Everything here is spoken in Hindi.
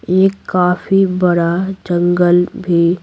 एक काफी बड़ा जंगल भी--